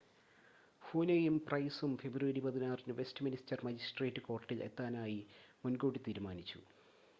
ഹൂനെയും പ്രൈസും ഫെബ്രുവരി 16ന് Westminster magistrate കോർട്ടിൽ എത്താനായി മുൻകൂട്ടി തീരുമാനിച്ചു